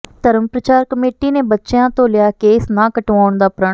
ਧਰਮ ਪ੍ਰਚਾਰ ਕਮੇਟੀ ਨੇ ਬੱਚਿਆਂ ਤੋਂ ਲਿਆ ਕੇਸ ਨਾ ਕਟਵਾਉਣ ਦਾ ਪ੍ਰਣ